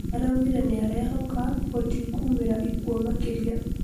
araugire nĩarehoka gũtikumĩra ikuũ makĩria